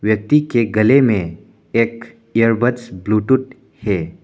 व्यक्ति के गले में एक इयरबड्स ब्ल्यूटूथ है।